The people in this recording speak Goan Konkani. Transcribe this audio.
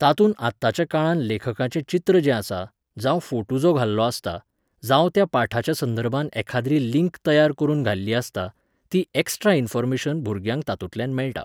तातूंत आताच्या काळांत लेखकाचें चित्र जें आसा, जावं फोटू जो घाल्लो आसता, जावं त्या पाठाच्या संदर्भांत एखाद्री लिंक तयार करून घाल्ली आसता, ती एक्स्ट्रा इन्फॉर्मेशन भुरग्यांक तातूंतल्यान मेळटा.